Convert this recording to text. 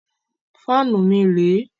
Fáànù mi rẹ̀ ẹ́.